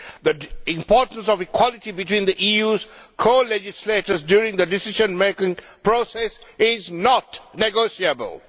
The importance of equality between the EU's colegislators during the decision making process is not negotiable.